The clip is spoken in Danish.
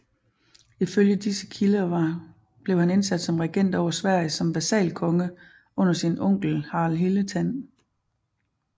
Ifølge disse kilder blev han sat ind som regent over Sverige som vasalkonge under sin onkel Harald Hildetand